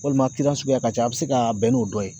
Walima suguya ka ca a bɛ se ka bɛn n'o dɔ ye.